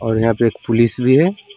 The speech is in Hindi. और यहां पे एक पुलिस भी है।